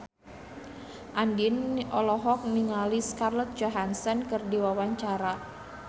Andien olohok ningali Scarlett Johansson keur diwawancara